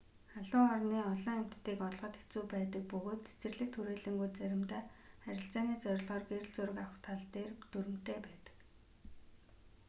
халуун орны олон амьтдыг олоход хэцүү байдаг бөгөөд цэцэрлэгт хүрээлэнгүүд заримдаа арилжааны зорилгоор гэрэл зураг авах тал дээр дүрэмтэй байдаг